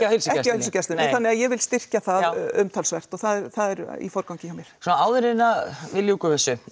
heilsugæslunni nei þannig að ég vil styrkja það umtalsvert og það er í forgangi hjá mér svona áður en að við ljúkum þessu